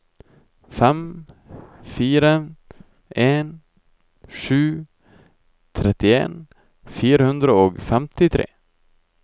fem fire en sju trettien fire hundre og femtitre